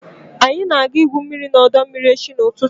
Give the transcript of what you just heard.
anyị ga-aga igwu mmiri n'ọdọ mmiri echi n'ụtụtụ